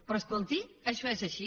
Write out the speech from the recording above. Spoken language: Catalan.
però escolti això és així